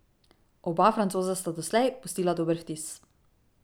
Oba Francoza sta doslej pustila dober vtis.